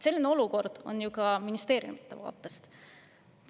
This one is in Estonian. Selline olukord on ju ka ministeeriumide vaatest.